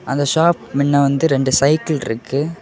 அந்த ஷாப் மின்ன வந்து ரெண்டு சைக்கிள் இருக்கு.